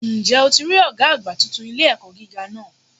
Ǹ jẹ́ o ti rí Ọ̀gá àgbà titun ilé-ẹ̀kọ́ gíga náà